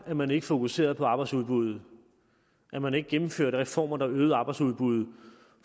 at man ikke fokuserede på arbejdsudbuddet at man ikke gennemførte reformer der øgede arbejdsudbuddet